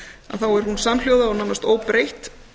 að þá er hún samhljóða og nánast óbreytt